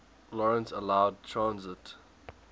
lawrence allowed transit